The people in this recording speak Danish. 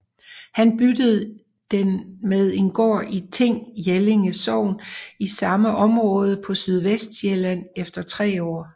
Han byttede den med en gård i Ting Jellinge Sogn i samme område på Sydvestsjælland efter tre år